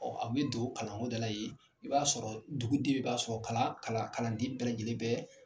Ɔɔ a be don kalan ko da la yen, i b'a sɔrɔ dugu den bɛɛ b'a sɔrɔ kalan kalanden bɛɛ lajɛlen bɛ